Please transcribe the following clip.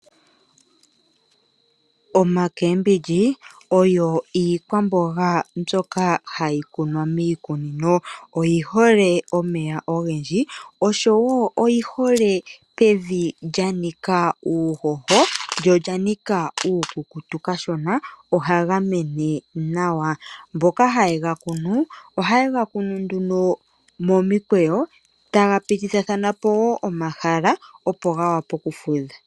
Oomboga odho iikwamboga mbyoka hayi kunwa miikunino. Oyi hole omeya ogendji noyi hole pevi lya nika uuhoho lyo olya nika uukukutu kashona. Ohaga mene nawa. Mboka haye ga kunu ohaye ga kunu nduno momikweyo ga pitithathana po omahala, opo ga vule okufudha.